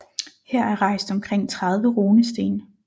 Her er rejst omkring 30 runesten